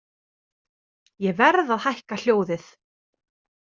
Ég verð að hækka hljóðið.